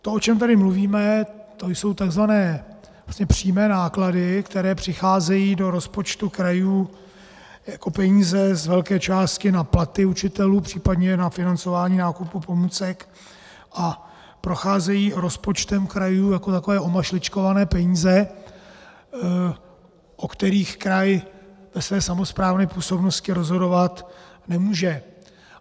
To, o čem tady mluvíme, to jsou tzv. přímé náklady, které přicházejí do rozpočtu krajů jako peníze z velké části na platy učitelů, případně na financování nákupu pomůcek, a procházejí rozpočtem krajů jako takové omašličkované peníze, o kterých kraj ve své samosprávné působnosti rozhodovat nemůže.